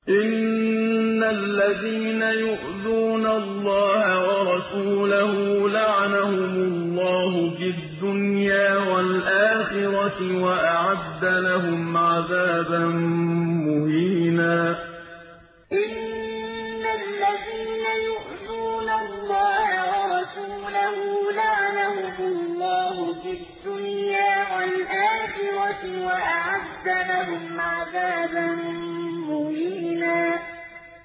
إِنَّ الَّذِينَ يُؤْذُونَ اللَّهَ وَرَسُولَهُ لَعَنَهُمُ اللَّهُ فِي الدُّنْيَا وَالْآخِرَةِ وَأَعَدَّ لَهُمْ عَذَابًا مُّهِينًا إِنَّ الَّذِينَ يُؤْذُونَ اللَّهَ وَرَسُولَهُ لَعَنَهُمُ اللَّهُ فِي الدُّنْيَا وَالْآخِرَةِ وَأَعَدَّ لَهُمْ عَذَابًا مُّهِينًا